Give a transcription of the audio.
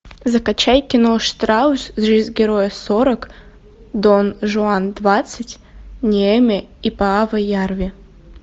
закачай кино штраус жизнь героя сорок дон жуан двадцать неэме и пааво ярви